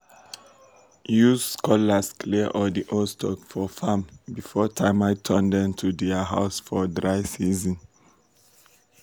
use cutlass clear all di old stalks for farm before termites turn dem to dia house for dry season.